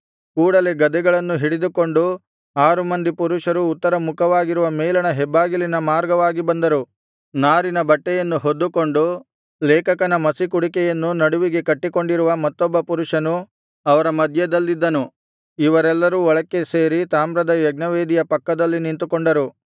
ಕೂಡಲೆ ಗದೆಗಳನ್ನು ಹಿಡಿದುಕೊಂಡ ಆರು ಮಂದಿ ಪುರುಷರು ಉತ್ತರ ಮುಖವಾಗಿರುವ ಮೇಲಣ ಹೆಬ್ಬಾಗಿಲಿನ ಮಾರ್ಗವಾಗಿ ಬಂದರು ನಾರಿನ ಬಟ್ಟೆಯನ್ನು ಹೊದ್ದುಕೊಂಡು ಲೇಖಕನ ಮಸಿಕುಡಿಕೆಯನ್ನು ನಡುವಿಗೆ ಕಟ್ಟಿಕೊಂಡಿರುವ ಮತ್ತೊಬ್ಬ ಪುರುಷನು ಅವರ ಮಧ್ಯದಲ್ಲಿದ್ದನು ಇವರೆಲ್ಲರೂ ಒಳಕ್ಕೆ ಸೇರಿ ತಾಮ್ರದ ಯಜ್ಞವೇದಿಯ ಪಕ್ಕದಲ್ಲಿ ನಿಂತುಕೊಂಡರು